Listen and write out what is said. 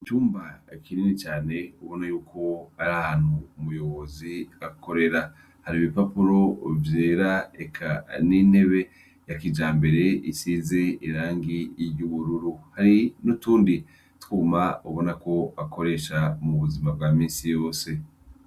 Icumba kinini cane ubona yuko ari ahantu umuyobozi akorera. Hari ibipapuro vyera eka n'intebe ya kijambere isize irangi ry'ubururu hari n'utundi twuma ubona ko akoresha mu buzima bwa minsi yose.